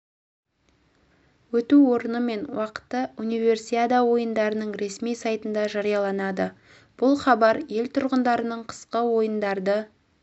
өту орны мен уақыты универсиада ойындарының ресми сайтында жарияланады бұл хабар ел тұрғындарының қысқы ойындарды